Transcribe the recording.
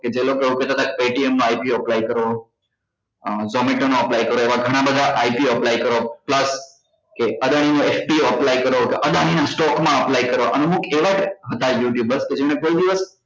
કે જે લોકો એવું કહેતા હતા કે paytm માં IPOapply કરો અ zomato નો apply કરો એવા ગણા બધા IPO ઓ apply કરો plus કે અદાણી નો SPO ઓ apply કરો કે અદાણી નાં stock માં apply કરવા અને અમુક એવા હતા you tuber કે જેમને કોઈ દિવસ